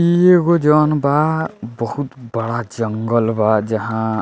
इ एगो जउन बा बहुत बड़ा जंगल बा जहाँ --